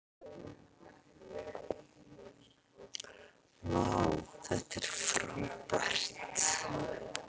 vá þetta er frábært